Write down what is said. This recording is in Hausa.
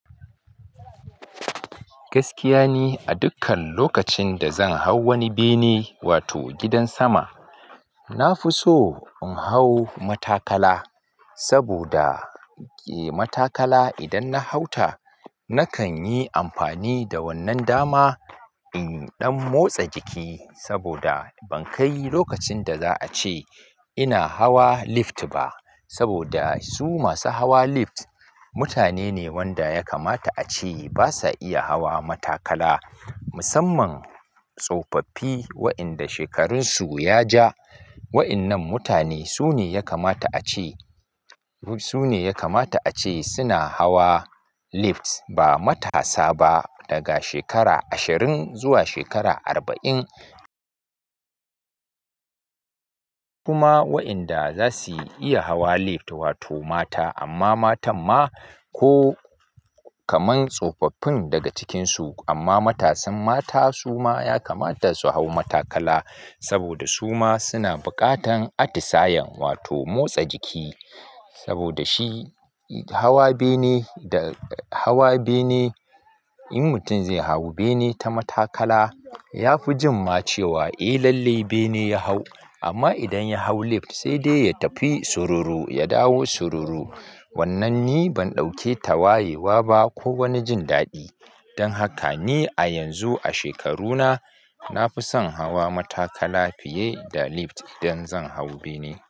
Gaskiya ni a dukkan lokacin da zan hau wani bene wato gidan sama, na fi so in hau matakala saboda eh matakala idan na hauta nakan yi amfani da wannan dama in ɗan motsa jiki saboda ban kai lokacin da za a ce ina hawa lift ba saboda su masu hawa lift mutane ne wanda ya kamata a ce basa iya hawa matakala. Musamman tsofaffi wa'inda shekarunsu ya ja. Wa'innan mutane su ne ya kamata a ce, su ne ya kamata a ce suna hawa lift ba matasa ba daga shekara ashirin zuwa shekara arba'in. Kuma wa'inda za su iya hawa lift wato mata amma matan ma ko kaman tsofaffin daga cikinsu amma matasan mata su ma ya kamata su hau matakala saboda su ma suna buƙatan atisayen wato motsa jiki. Saboda shi hawa bene da hawa bene in mutum zai hau bene ta matakala ya fi jin ma cewa eh lalle bene ya hau. Amma idan ya hau lift sai dai ya tafi soro ro ya dawo soro ro. Wannan ni ban ɗauke ta wayewa ba ko wani jin daɗi. Don haka ni a yanzu a shekaruna na fi son hawa matakala fiye da lift idan zan hau bene.